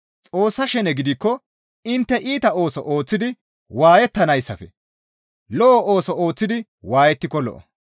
Xoossa shene gidikko intte iita ooso ooththidi waayettanayssafe lo7o ooso ooththidi waayettiko lo7o.